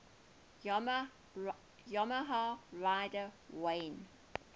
yamaha rider wayne